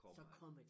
Kommer